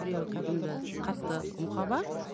біреуі кәдімгі қатты мұқаба